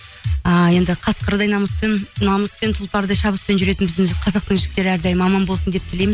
ыыы енді қасқырдай намыспен тұлпардай шабыспен жүретін біздің қазақтың жігіттері әрдайым аман болсын деп тілеймін